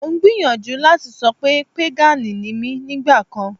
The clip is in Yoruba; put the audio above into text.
Mo ń gbìyànjú láti sọ pé pégànì ni mí nígbà kan